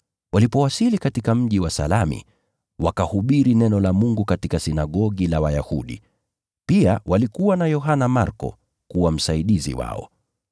Walipowasili katika mji wa Salami, wakahubiri neno la Mungu katika sinagogi la Wayahudi. Pia walikuwa na Yohana Marko kuwa msaidizi wao.